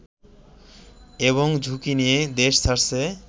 এবং ঝুঁকি নিয়ে দেশ ছাড়ছে